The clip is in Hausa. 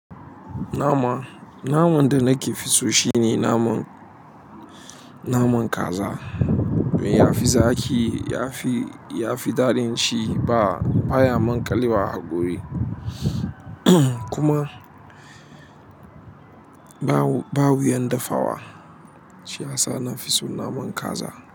Nama, naman da nake fi so shine naman, naman kaza. Ya fi zaƙi, ya fi, ya fi daɗin ci ba, baya maƙalewa a haƙori kuma ba wuyan dafawa. Shiyasa na fi so naman kaza.